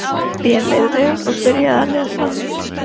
Mér leið vel og byrjaði að lesa.